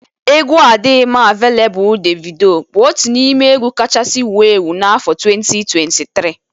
Egwu adịghị m aveleblụ Devido bụ otu n'ime egwu kachasị wụo ewu n' afọ 2023